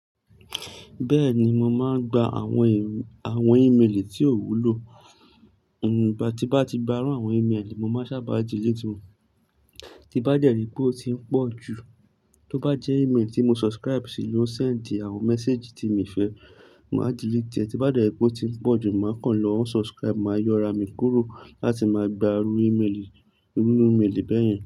Bẹ́ẹ̀ni, mo máa ń gba àwọn ìrù, àwọn ímélì tí ò wúlò. Nùù, bí bá ti bá ti bá rán àwọn ímélì, mo máa sábà delete wọ́n. Tí bá dẹ́rì pé ó ti ń pọ̀ jù, tó bá jẹ́ ímélì tí mo subscribe sí ló ń send àwọn message tí mi fẹ́, màá delete ẹ. Tí bá dẹ́rì pé ó ti ń pọ̀ jù, màá kàn lọ unsubscribe, màá yọra mi kúrò láti máa gba irú ímélì, irú ímélì bẹ́ẹ̀ yẹn.